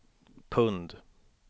pund